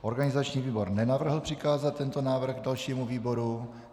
Organizační výbor nenavrhl přikázat tento návrh dalšímu výboru.